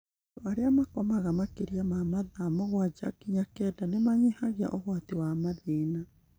Andũ arĩa makomaga makĩria ya mathaa mũgwanja nginya kenda nĩ manyihagia ũgwati wa mathĩna